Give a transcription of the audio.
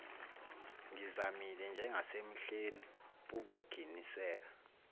ngizamile njengasemihleni pukuginiseka